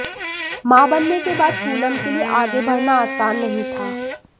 मां बनने के बाद पूनम के लिए आगे बढ़ना आसान नहीं था